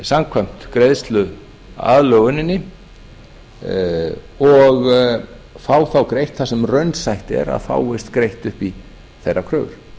samkvæmt greiðsluaðlöguninni og fá þá greitt það sem raunsætt er að fáist greitt upp í þeirra kröfur